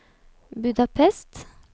Budapest